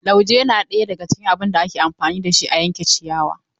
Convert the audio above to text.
Lauje na ɗaya daga cikin abun da ake amfani da shi a yanka ciyawa.